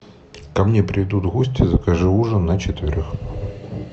ко мне придут гости закажи ужин на четверых